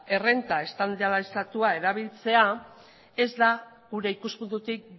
errenta estandarizatua erabiltzea ez da gure ikuspuntutik